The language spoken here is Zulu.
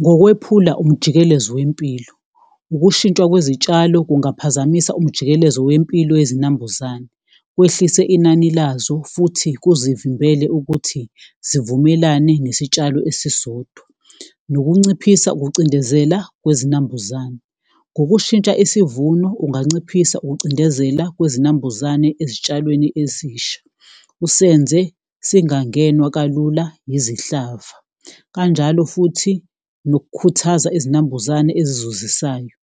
Ngokwephula umjikelezo wempilo, ukushintshwa kwezitshalo kungaphazamisa umjikelezo wempilo yezinambuzane, wehlise inani lazo futhi kuzivimbele ukuthi zivumelane nesitshalo esisodwa. Nokunciphisa ukucindezela kwezinambuzane, ngokushintsha isivuno unganciphisa ukucindezela kwezinambuzane ezitshalweni ezisha usenze singangenwa kalula izihlava. Kanjalo futhi nokukhuthaza izinambuzane ezizuzisayo,